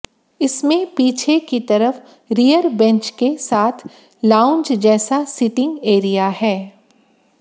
इसमें पीछे की तरफ रियर बेंच के साथ लाउंज जैसा सीटिंग एरिया है